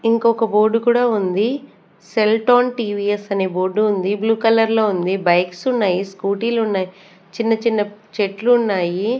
ఇంకొక్క బోర్డు కూడా ఉంది సెల్టోన్ టీ_వీ_ఎస్ అనే బోర్డు ఉంది బ్లు కలర్ లో ఉంది బైక్స్ ఉన్నాయి స్కూటీ లు ఉన్నాయి చిన్న చిన్న చెట్లు ఉన్నాయి.